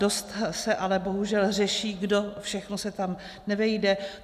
Dost se ale bohužel řeší, kdo všechno se tam nevejde.